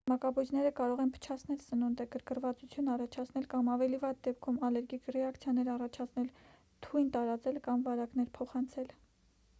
մակաբույծները կարող են փչացնել սնունդը գրգռվածություն առաջացնել կամ ավելի վատ դեպքում ալերգիկ ռեակցիաներ առաջացնել թույն տարածել կամ վարակներ փոխանցել